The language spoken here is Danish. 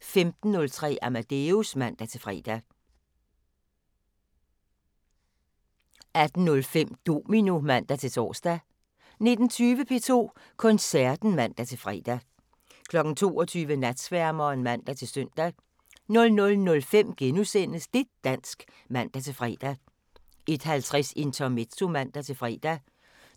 15:03: Amadeus (man-fre) 18:05: Domino (man-tor) 19:20: P2 Koncerten (man-fre) 22:00: Natsværmeren (man-søn) 00:05: Det' dansk *(man-fre) 01:50: Intermezzo (man-fre)